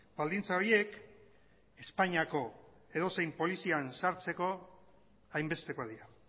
baldintza horiek espainiako edozein polizian sartzeko hainbestekoak dira